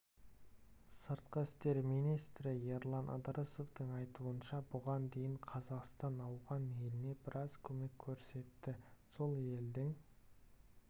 сыртқы істер министрі ерлан ыдырысовтың айтуынша бұған дейін қазақстан ауған еліне біраз көмек көрсетті сол елдің